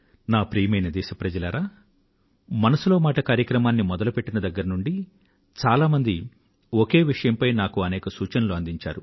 ప్రియమైన నా దేశవాసులారా మనసులో మాట కార్యక్రమాన్ని మొదలుపెట్టిన దగ్గర నుండి చాలా మంది ఒకే విషయం పై నాకు అనేక సూచనలు అందించారు